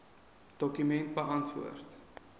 dokument beantwoord